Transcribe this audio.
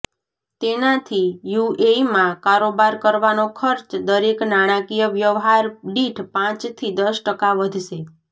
તેનાથી યુએઇમાં કારોબાર કરવાનો ખર્ચ દરેક નાણાકીય વ્યવહાર દીઠ પાંચથી દસ ટકા વધશે